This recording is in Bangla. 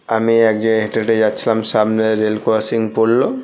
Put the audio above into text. আমি এক জায়গায় হেঁটে হেঁটে যাচ্ছিলাম সামনে রেল ক্রসিং পড়লো--